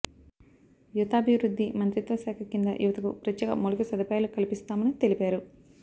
యువతాభివృద్ధి మంత్రిత్వ శాఖ కింద యువతకు ప్రత్యేక మౌలిక సదుపాయాలు కల్పిస్తామని తెలిపారు